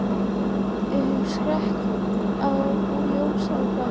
Sérðu ekki að Lúlli er bálreiður út í mig?